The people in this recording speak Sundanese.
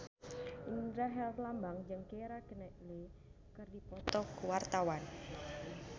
Indra Herlambang jeung Keira Knightley keur dipoto ku wartawan